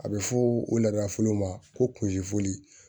A bɛ fɔ o la fɔlɔ ma ko kunci foli